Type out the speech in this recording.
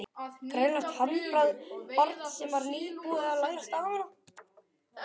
Greinilegt handbragð barns sem var nýbúið að læra stafina.